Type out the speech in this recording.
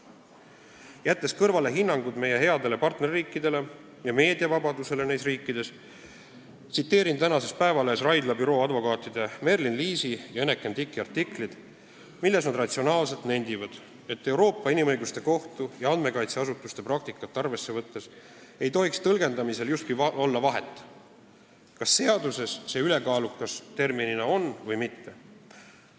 Jättes kõrvale hinnangud meie headele partnerriikidele ja meediavabadusele neis riikides, tsiteerin tänases Päevalehes ilmunud Raidla büroo advokaatide Merlin Liisi ja Eneken Tiki artiklit, milles nad ratsionaalselt nendivad, et Euroopa Inimõiguste Kohtu ja andmekaitseasutuste praktikat arvesse võttes ei tohiks tõlgendamisel justkui olla vahet, kas seaduses on "ülekaalukas" terminina või mitte.